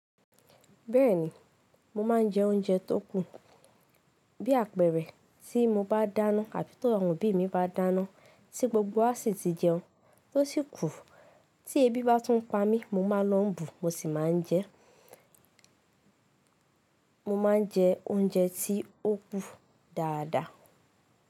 Bẹ́ẹ̀ni, mo ma n jẹ oúnjẹ tó kù, bí àpẹ̀rẹ̀, tí mo bá dáná àbí t' àwọn obí mi bá dáná ti gbogbo wa sì ti jẹun, tó sì kùu. Tí ebi bá tún pa mí, mo máa lọ̀ n bù, mo sì máa n jẹ, mo ma n jẹ oúnjẹ tí ó kù dáadáa.